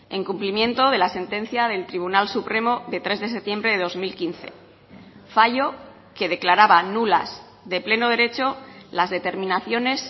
en cumplimiento de la sentencia del tribunal supremo de tres de septiembre de dos mil quince fallo que declaraba nulas de pleno derecho las determinaciones